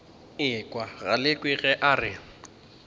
ekwa galekwe ge a re